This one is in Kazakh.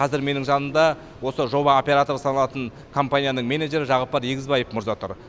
қазір менің жанымда осы жоба операторы саналатын компанияның менеджері жағыппар егізбаев мырза тұр